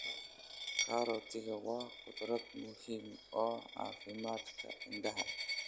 Karootiga waa khudrad muhimu oo caafimaadka indhaha.